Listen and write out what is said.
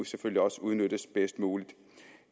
selvfølgelig også udnyttes bedst muligt